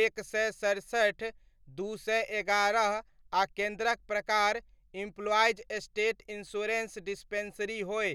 एक सए सड़सठि, दू सए एगारह आ केन्द्रक प्रकार एम्प्लॉईज़ स्टेट इन्शुरेन्स डिस्पेंसरी होय।